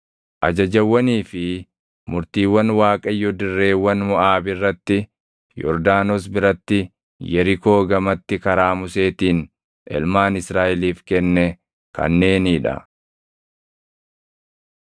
Ajajawwanii fi murtiiwwan Waaqayyo dirreewwan Moʼaab irratti, Yordaanos biratti, Yerikoo gamatti karaa Museetiin ilmaan Israaʼeliif kenne kanneenii dha.